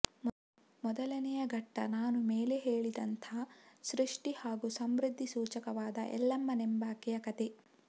ಮೊದಲನೇ ಘಟ್ಟ ನಾನು ಮೇಲೆ ಹೇಳಿದಂಥ ಸೃಷ್ಟಿ ಹಾಗೂ ಸಮೃದ್ಧಿ ಸೂಚಕವಾದ ಎಲ್ಲಮ್ಮನೆಂಬಾಕೆಯ ಕಥೆ